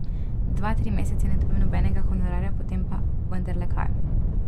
Dva, tri mesece ne dobim nobenega honorarja, potem pa vendarle kaj.